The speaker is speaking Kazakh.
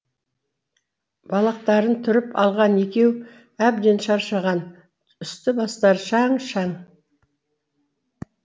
балақтарын түріп алған екеу әбден шаршаған үсті бастары шаң шаң